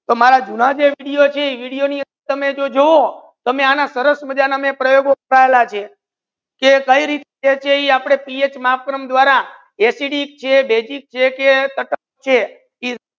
તો મારા જે જુના જે video video ની અંદર તમે જુવો તો માઇ સરસ માજા ના પ્રાર્થના લગે કે કઈ રીતે આપડે PH માતરમ દ્વારા એસિડિક જે છે કે બેઝીક છે કે છે